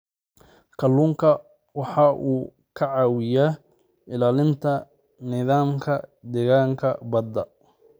Kalluunku waxa uu ka caawiyaa ilaalinta nidaamka deegaanka badda.